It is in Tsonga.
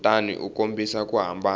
kutani u kombisa ku hambana